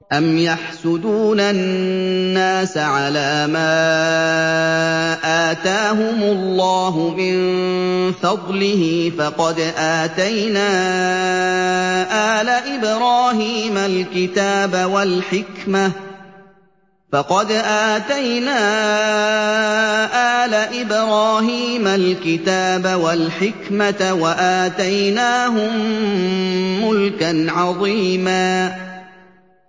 أَمْ يَحْسُدُونَ النَّاسَ عَلَىٰ مَا آتَاهُمُ اللَّهُ مِن فَضْلِهِ ۖ فَقَدْ آتَيْنَا آلَ إِبْرَاهِيمَ الْكِتَابَ وَالْحِكْمَةَ وَآتَيْنَاهُم مُّلْكًا عَظِيمًا